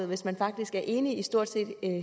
hvis man faktisk er enig i stort set